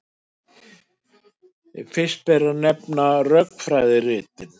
Fyrst ber að nefna rökfræðiritin.